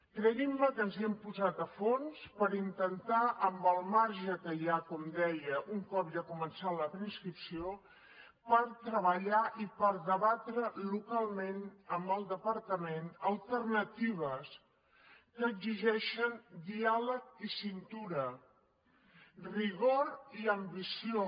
creguin me que ens hi hem posat a fons per intentar amb el marge que hi ha com deia un cop ja ha començat la preinscripció treballar i debatre localment amb el departament alternatives que exigeixen diàleg i cintura rigor i ambició